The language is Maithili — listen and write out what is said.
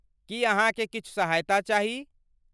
की अहाँकेँ किछु सहायता चाही?